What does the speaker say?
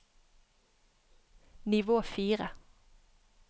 nivå fire